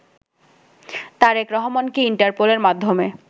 তারেক রহমানকে ইন্টারপোলের মাধ্যমে